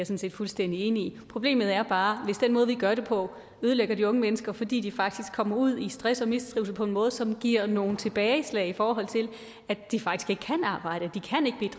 set fuldstændig enig i problemet er bare hvis den måde vi gør det på ødelægger de unge mennesker fordi de faktisk kommer ud i stress og mistrivsel på en måde som giver nogle tilbageslag i forhold til at de faktisk ikke kan arbejde